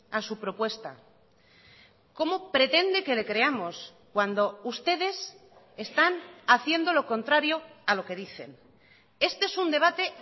a su propuesta cómo pretende que le creamos cuando ustedes están haciendo lo contrario a lo que dicen este es un debate